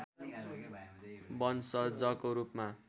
वंशजको रूपमा